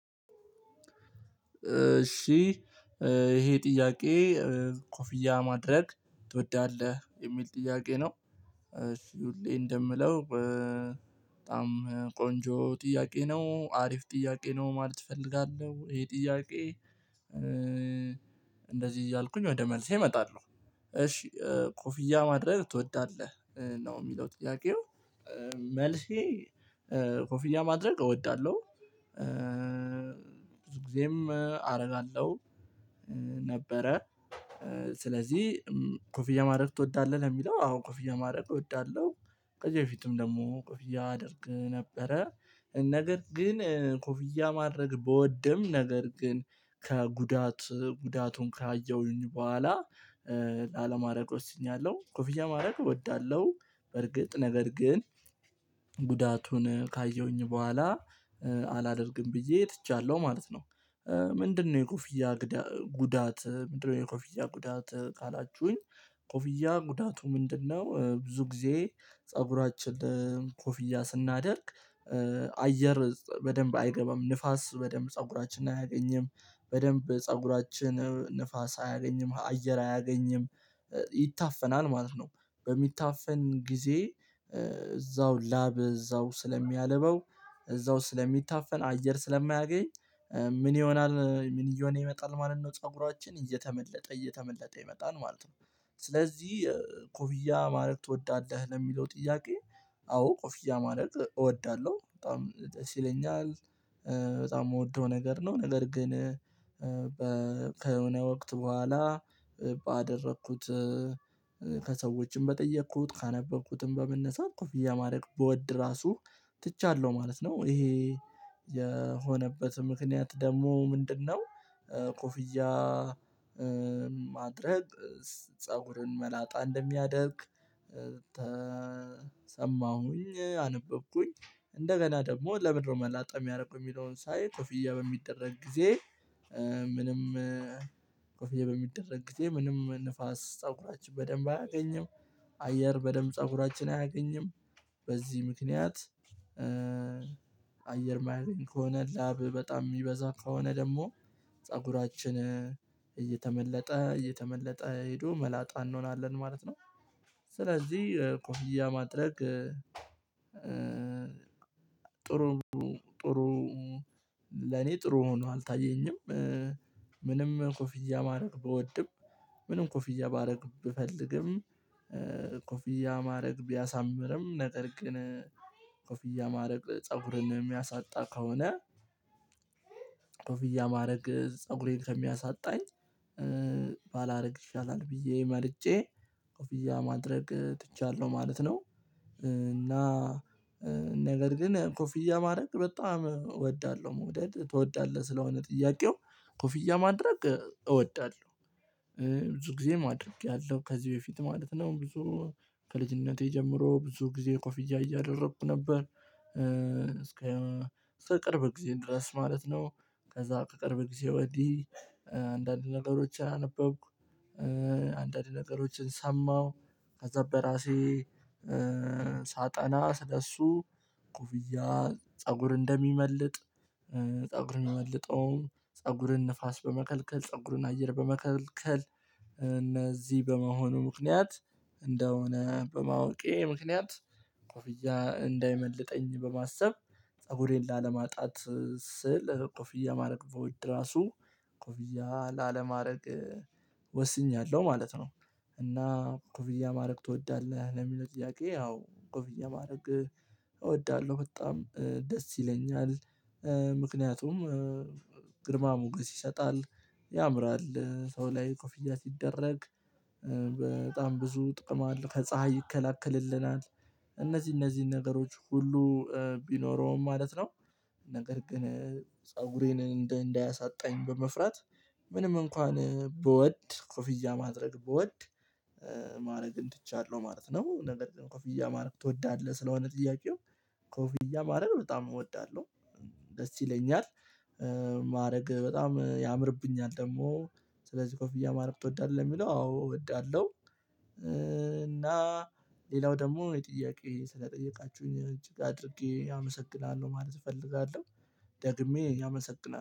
እሺ ይሄ ጥያቄ ኮፍያ ማድረግ ትወዳለህ የሚል ጥያቄ ነው። እሺ ሁሌ እንደምለው በጣም ቆንጆ ጥያቄ ነው አሪፍ ጥያቄ ነው ማለት እፈልጋለሁ ይሄ ጥያቄ እንደዚህ እያልኩኝ ወደ መልሴ እመጣለሁ። እሺ ኮፍያ ማድረግ ትወዳለህ ነው የሚለው ጥያቄው መልሴ ኮፊኛ ማድረግ እወዳለሁ። ብዙ ጊዜም አደርጋለሁ። ነበረ ስለዚህ ኮፍያ ማድረግ ትወዳለህ ለሚለው አዎ ኮፊያ ማድረግ እወዳለሁ። ቀጭ በፊትም ደግሞ ኮፊያ አደርግ ነበረ ነገር ግን ኮፍያ ማድረግ በወደም ነገር ግን ከጉዳት ጉዳቱን ካየሁኝ በኋላ ላለማድረግ ወስኛለሁ። ኮፍያ ማድረግ እወዳለሁ በርግጥ ነገር ግን ጉዳቱን ካየሁኝ በኋላ አላደርግም ብዬ ትቻለሁ ማለት ነው። ምንድነው የኮፊያ ጉዳት ምንድነው የኮፊያ ጉዳት ካላችሁኝ ኮፊያ ጉዳቱ ምንድነው? ብዙ ጊዜ ፀጉራችን ለቆፊያ ስናደርግ አየር በደንብ አይገባም ንፋስ በደንብ ፀጉራችንን አያገኝም በደንብ ፀጉራችንን ንፋስ አያገኝም አየር አያገኝም ይታፈናል ማለት ነው። በሚታፈን ጊዜ እዛው ላብ እዛው ስለሚያልበው እዛው ስለሚታፈን አየር ስለማያገኝ ምን ይሆናል ምን እየሆነ ይመጣል ማለት ነው ፀጉራችን እየተመለጠ እየተመለጠ ይመጣል ማለት ነው። ስለዚህ ኮፊያ ማድረግ እወዳለሁ ለሚለው ጥያቄ አዎ ኮፊያ ማድረግ እወዳለሁ በጣም ደስ ይለኛል። በጣም የምወደው ነገር ነው ነገር ግን ከሆነ ወቅት በኋላ ባደረኩት ከሰዎችም በጠየኩት ካነበብኩትም በመነሳት ኮፍያ ማድረግ ብወድ ራሱ ትቻለሁ ማለት ነው። ይሄ የሆነበት ምክንያት ደግሞ ምንድነው? ቆፍያ ማድረግ ፀጉርን መላጣ እንደሚያደርግ ተሰማሁኝ አነበብኩኝ እንደገና ደግሞ ለምንድነው መላጣ የሚያደርጉ የሚለውን ሳይ ኮፍያ በሚደረግ ጊዜ ምንም ኮፍያ በሚደረግ ጊዜ ምንም ንፋስ ፀጉራችን በደንብ አያገኝም። አየር በደንብ ፀጉራችን አያገኝም። በዚህ ምክንያት አየር ማየት ከሆነ ላብ በጣም የሚበዛ ከሆነ ደግሞ ፀጉራችን እየተመለጠ እየተመለጠ ሄዶ መላጣ እንሆናለን ማለት ነው። ስለዚህ ኮርያ ማጥለቅ ጥሩ ጥሩ ለኔ ጥሩ ሆኖ አልታየኝም። ምንም ኮፊያ ማድረግ ብወድም ምንም ኮፊያ ማድረግ ብፈልግም ኮፊያ ማድረግ ቢያሳምርም ነገር ግን ኮፍያ ማድረግ ፀጉርን የሚያሳጣ ከሆነ ኮፍያ ማድረግ ፀጉሬን ከሚያሳጣኝ ባላደርግ ይሻላል ብዬ መርጨ። ኮፊያ ማድረግ ትቻለሁ ማለት ነው። እና ነገር ግን ኮፍያ ማድረግ በጣም እወዳለሁ መውደድ ትወዳለህ ስለሆነ ጥያቄው ኮፍያ ማድረግ እወዳለሁ። ብዙ ጊዜ ማድረግ ያለው ከዚህ በፊት ማለት ነው ብዙ ከልጅነቴ ጀምሮ ብዙ ጊዜ ኮፊያ እያደረኩ ነበር። እስከ ከቅርብ ጊዜ ድረስ ማለት ነው። ከዛ ከቅርብ ጊዜ ወዲህ አንዳንድ ነገሮችን አነበብኩ። አንዳንድ ነገሮችን ሰማሁ። ከዛ በራሴ ሳጠና ስለእሱ ጉብያ ፀጉር እንደሚመልጥ። ፀጉርን እመልጠውም ፀጉርን ንፋስ በመከልከል ፀጉርን አየር በመከልከል እነዚህ በመሆኑ ምክንያት እንደሆነ በማወቄ ምክንያት ኮፍያ እንዳይመልጠኝ በማሰብ ፀጉሬን ላለማጣት ስል ኮፍያ ማድረግ በውድ ራሱ ኮፍያ ላለማድረግ ወስኛለሁ ማለት ነው። እና ኮፍያ ማድረግ ትወዳለህ ለሚለው ጥያቄ አዎ ኮፊያ ማድረግ እወዳለሁ በጣም ደስ ይለኛል። ምክንያቱም ግርማ ሞገስ ይሰጣል ያምራል ሰው ላይ ኮፊያ ሲደረግ በጣም ብዙ ጥቅም አለ ከፀሀይ ይከለክልልናል። እነዚህ እነዚህን ነገሮች ሁሉ ቢኖረውም ማለት ነው። ነገር ግን ፀጉሬን እንዳያሳጣኝ በመፍራት ምንም እንኳን ብወድ ኮፊያ ማድረግ ብወድ ማድረግም ትቻለሁ ማለት ነው። ነገር ኮፍያ ማድረግ ትወዳለህ ስለሆነ ጥያቄው ኮፍያ ማድረግ በጣም እወዳለሁ። ደስ ይለኛል ማድረግ በጣም ያምርብኛል ደግሞ ስለዚህ ኮፍያ ማድረግ እወዳለሁ የሚለው አዎ እወዳለሁ። እና ሌላው ደግሞ የጥያቄ ስለጠየቃችሁኝ እጅግ አድርጌ አመሰግናለሁ ማለት እፈልጋለሁ። ደግሜ አመሰግናል